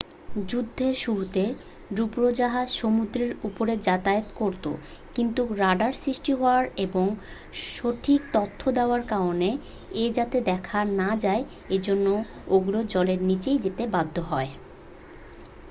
যুদ্ধের শুরুতে ডুবোজাহাজ সমুদ্রের উপরে যাতায়াত করতো কিন্তু রাডার সৃষ্টি হওয়ায় এবং সঠিক তথ্য দেওয়ার কারণ এ যাতে দেখা না যায় এজন্য ওগুলো জলের নীচে যেতে বাধ্য হয়